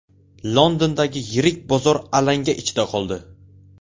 Londondagi yirik bozor alanga ichida qoldi.